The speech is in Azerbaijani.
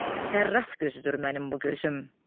Sərraf gözüdür mənim bu gözüm.